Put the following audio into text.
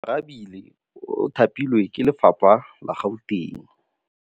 Oarabile o thapilwe ke lephata la Gauteng.